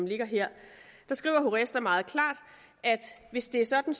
ligger her skriver horesta meget klart at hvis det er sådan